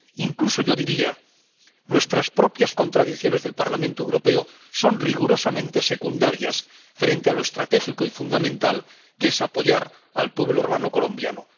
Incluso yo diría nuestras propias contradicciones, las del Parlamento Europeo, son rigurosamente secundarias frente a lo estratégico y fundamental, que es apoyar al pueblo hermano colombiano.